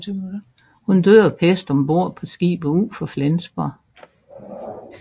Hun døde af pest om bord på skibet ud for Flensborg